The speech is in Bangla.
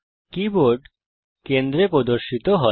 কীবোর্ড কেন্দ্রে প্রদর্শিত হয়